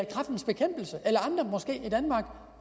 måske andre